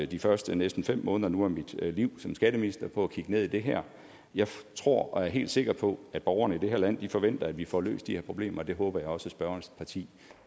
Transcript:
de første næsten fem måneder af mit liv som skatteminister på at kigge ned i det her jeg tror og er helt sikker på at borgerne i det her land forventer at vi får løst de her problemer det håber jeg også at spørgerens parti